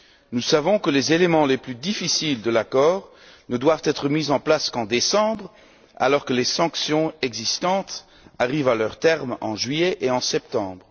Nous savons que les éléments les plus difficiles de l'accord ne doivent être mis en place qu'en décembre, alors que les sanctions existantes arrivent à leur terme en juillet et en septembre.